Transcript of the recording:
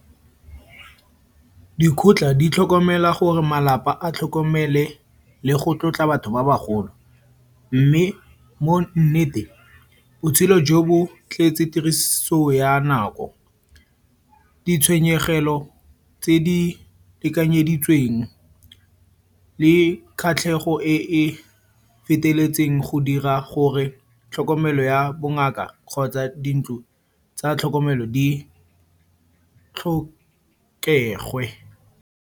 Dikotla di tlhokomela gore malapa a tlhokomele le go tlotla batho ba bagolo. Mme mo nneteng botshelo jo bo tletse tiriso ya nako. Ditshwenyegelo tse di lekanyeditsweng le kgatlhego e e feteletseng go dira gore tlhokomelo ya bongaka kgotsa dintlo tsa tlhokomelo di tlhokege.